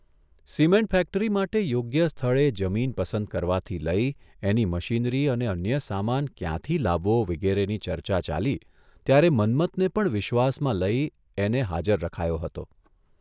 Cement factory માટે યોગ્ય સ્થળે જમીન પસંદ કરવાથી લઇ એની મશીનરી અને અન્ય સામાન ક્યાંથી લાવવો વિગેરેની ચર્ચા ચાલી ત્યારે મન્મથને પણ વિશ્વાસમાં લઇ એને હાજર રખાયો હતો.